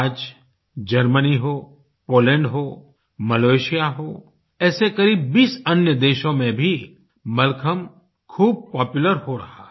आज जर्मनी हो पोलैंड हो मलेशिया हो ऐसे करीब 20 अन्य देशो में भी मलखम्ब खूब पॉपुलर हो रहा है